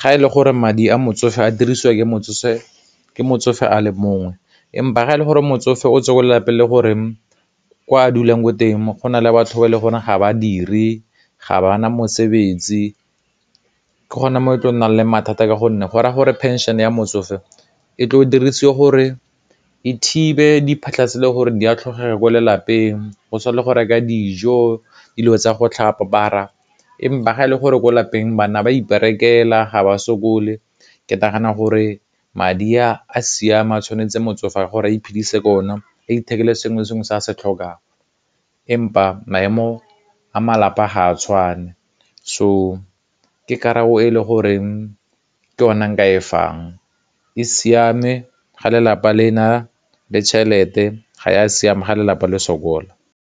ga e le gore madi a motsofe a dirisiwa ke motsofe a le mongwe, empa ga e le gore motsofe o tswa ko lelapeng le gore kwa a dulang ko teng go na le batho le gore ga badiri, ga bana mosebetsi ke gone mo e tla nnang le mathata ka gonne gora gore phenšhene ya motsofe e tlo dirisiwe gore e thibe diphotlha tse e le gore di a ko lelapeng, go tshwana le go reka dijo, dilo tsa go tlhapa ga e le gore ko lapeng bana ba iperekela ga ba sokole, ke nagana gore madi a siama tshwanetse motsofe gore a iphedise ka o na a ithekele sengwe le sengwe se a se tlhokang empa maemo a malapa a ga a tshwane so ke karabo e le goreng ke ona nka e fang e siame ga lelapa le na le tšhelete ga ya a siame ga lelapa le sokola.